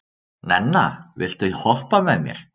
Nenna, viltu hoppa með mér?